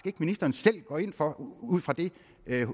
at ministeren selv går ind for ud fra det